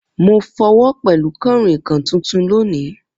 Mo fọ́wo pẹlu kànrìnkàn tuntun loni.